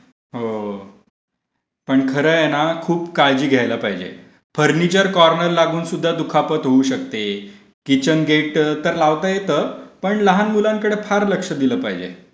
हो. पण खरं आहे ना खूप काळजी घ्यायला पाहिजे. फर्निचर कोर्नर लागून सुद्धा दुखापत होऊ शकते. किचन गेट तर लावता येतं. पण लहान मुलांकडे फार लक्ष दिलं पाहिजे.